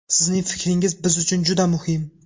Sizning fikringiz biz uchun juda muhim!